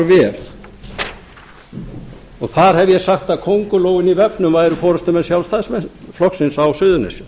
og þar hef ég sagt að kóngulóin í vefnum væru forustumenn sjálfstæðisflokksins á suðurnesjum